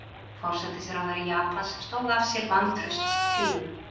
Forsætisráðherra Japans stóð af sér vantrauststillögu